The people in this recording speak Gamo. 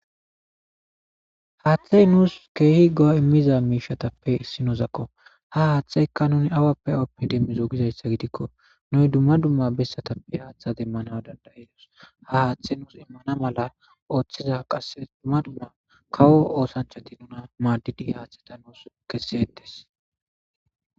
haaththey nuus keehi go7o immiza miishatappe issi nozakko ha haaththeykka nuni awappe awappidemmi zougizayssa gidikko nuy dumma dumma bessatappe haaththa demmana dandayidos ha haaththey nuus immana mala ooththiza qasse dumma dumma kawo oosanchati nuna maaddidi haaththata nuus kessietes